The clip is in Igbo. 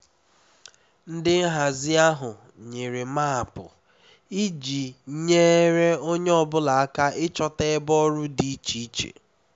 ndị nhazi ahụ nyere maapụ iji nyere onye ọ bụla aka ịchọta ebe ọrụ dị iche iche